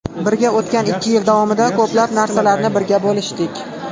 Birga o‘tgan ikki yil davomida ko‘plab narsalarni birga bo‘lishdik.